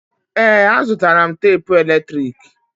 Ee, azụtara m tapụ eletrik.